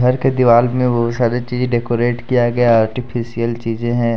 घर के दीवार में बहुत सारी चीज डेकोरेट किया गया है आर्टिफिशियल चीज़ें हैं।